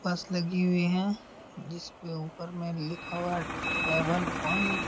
बस लगी हुई है जिस पे लिखा हुआ है ट्रैवल पॉइंट ।